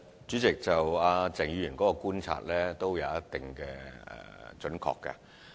主席，鄭議員的觀察頗為準確。